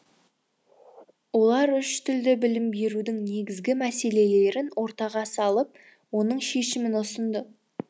олар үш тілді білім берудің негізгі мәселелерін ортаға салып оның шешімін ұсынды